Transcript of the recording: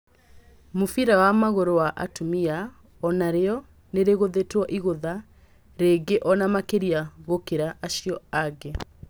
Mũbira wa magũrũ wa atumia onarĩo nĩrĩgũthitwo igűtha, rĩngĩ ona makĩria gũkĩra acio angĩ.